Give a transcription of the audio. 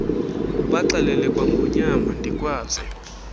ubaxelele kwangonyama ndikwazi